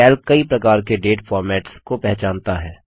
Calc कई प्रकार के डेट फोर्मेट्स को पहचानता है